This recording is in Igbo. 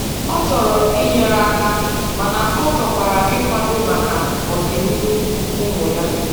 Ọ chọrọ inyere aka mana ọchọkwara ịkwado maka ọdị n'ihu ụmụ ya.